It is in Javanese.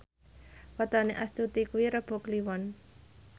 wetone Astuti kuwi Rebo Kliwon